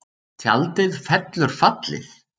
Tjaldið fellur fallið